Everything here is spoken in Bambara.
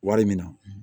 Wari min na